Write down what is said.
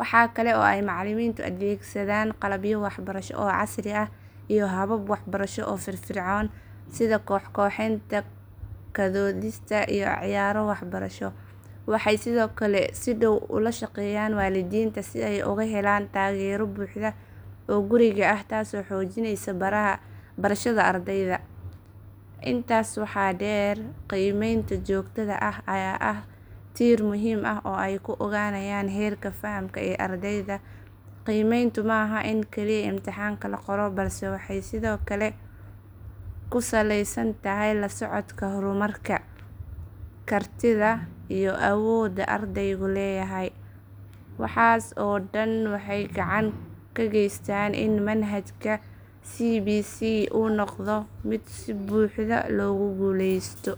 Waxaa kale oo ay macallimiintu adeegsadaan qalabyo waxbarasho oo casri ah iyo habab waxbarasho oo firfircoon sida koox-kooxeyn, ka doodista iyo ciyaaro waxbarasho. Waxay sidoo kale si dhow ula shaqeeyaan waalidiinta si ay uga helaan taageero buuxda oo guriga ah taasoo xoojinaysa barashada ardayda. Intaa waxaa dheer, qiimeynta joogtada ah ayaa ah tiir muhiim ah oo ay ku ogaanayaan heerka fahamka ee ardayda. Qiimeyntu ma aha oo kaliya imtixaan la qoro balse waxay sidoo kale ku saleysan tahay la socodka horumarka, kartida iyo awoodda ardaygu leeyahay. Waxaas oo dhan waxay gacan ka geystaan in manhajka CBC uu noqdo mid si buuxda loogu guuleysto.